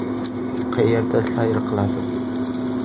Qayerda sayr qilasiz?